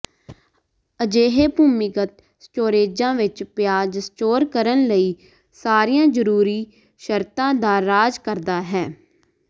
ਅਜਿਹੇ ਭੂਮੀਗਤ ਸਟੋਰੇਜ਼ਾਂ ਵਿੱਚ ਪਿਆਜ਼ ਸਟੋਰ ਕਰਨ ਲਈ ਸਾਰੀਆਂ ਜ਼ਰੂਰੀ ਸ਼ਰਤਾਂ ਦਾ ਰਾਜ ਕਰਦਾ ਹੈ